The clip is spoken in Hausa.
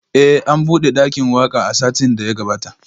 Eh an bude dakin waka a satin da ya gabata